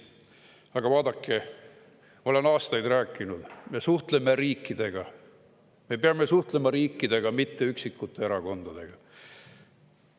Aga vaadake, olen aastaid rääkinud: me suhtleme riikidega, me peame suhtlema riikidega, mitte üksikute erakondadega.